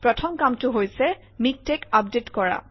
প্ৰথম কামটো হৈছে মিকটেক্স আপডেট কৰা